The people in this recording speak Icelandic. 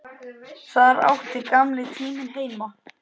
Þar átti gamli tíminn heima.